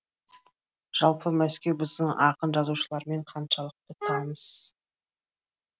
жалпы мәскеу біздің ақын жазушылармен қаншалықты таныс